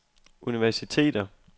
universiteter